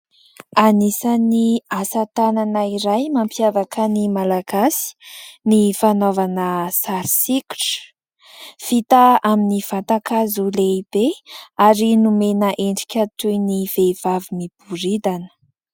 Anisan'ny asatanana iray mampiavaka ny Malagasy ny fanaovana sary sikotra. Vita amin'ny vatan-kazo lehibe ary nomena endrika toy ny vehivavy miboridana.